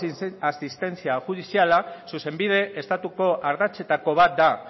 asistentzia judiziala zuzenbide estatuko ardatzetako bat da